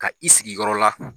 Ka i sigiyɔrɔ la.